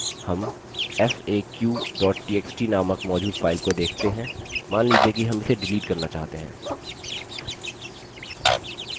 हम faq txt नामक मौजूद file को देख सकते हैं मान लीजिए कि हम इसे डिलीट करना चाहते हैं